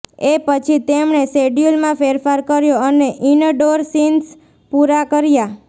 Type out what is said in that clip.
એ પછી તેમણે શેડ્યૂલમાં ફેરફાર કર્યો અને ઇનડોર સીન્સ પૂરા કર્યા